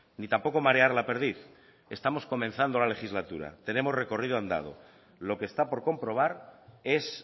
ni tampoco marear la perdiz estamos comenzando la legislatura tenemos recorrido andando lo que está por comprobar es